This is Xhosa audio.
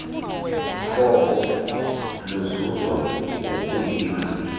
koko luzuzwa ngokuyila